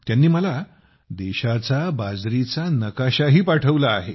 त्यांनी मला देशाचा बाजरीचा नकाशाही पाठवला आहे